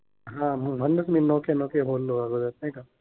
हा. म्हणूनच मी नोकिया नोकिया बोललो अगोदर, नाय का?